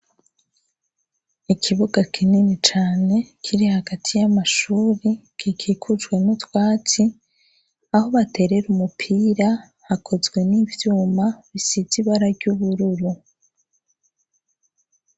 Ikibuga kinini cane kiri hagati y'amashuri kikikujwe nu twatsi aho baterere umupira hakozwe n'ivyuma bisiza ibara ry'ubururu.